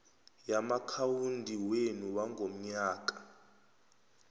yamaakhawundi wenu wangomnyaka